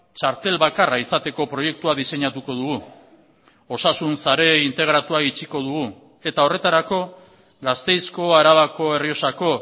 txartel bakarra izateko proiektua diseinatuko dugu osasun sare integratua itxiko dugu eta horretarako gasteizko arabako errioxako